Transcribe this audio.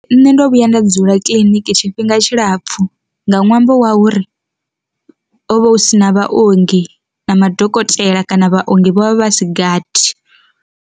Nṋe ndo vhuya nda dzula kiḽiniki tshifhinga tshilapfu nga ṅwambo wa uri, hovha hu si na vhaongi na madokotela kana vhaongi vho vha vha si gathi.